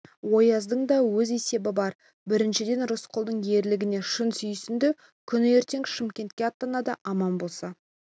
ояздың да өз есебі бар біріншіден рысқұлдың ерлігіне шын сүйсінді күні ертең шымкентке аттанады аман болса